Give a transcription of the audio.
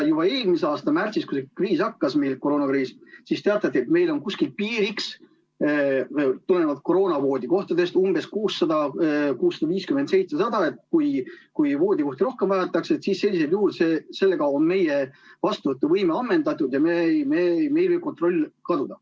Juba eelmise aasta märtsis, kui see koroonakriis pihta hakkas, teatati, et meil on koroonahaigetele võimaldatavate voodikohtade piiriks umbes 600–700 ja kui voodikohti vajatakse rohkem, siis on meie vastuvõtuvõime ammendunud ja meil võib kontroll kaduda.